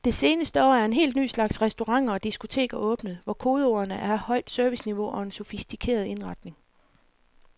Det seneste år er en helt ny slags restauranter og diskoteker åbnet, hvor kodeordene er højt serviceniveau og en sofistikeret indretning.